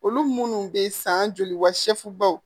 Olu munnu bɛ san joli wa seegubaw